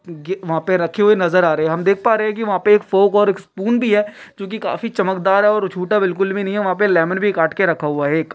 वहाँ पे रखे हुए है नजर आ रहे है हम देख पा रहे है की वहाँ पे एक फोक और स्पून भी है जो की काफ़ी चमकदार है छोटा बिलकुल भी नही है वहाँ पे लेमन कट के रखा हुवा है एक--